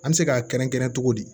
An bɛ se k'a kɛrɛnkɛrɛn togo di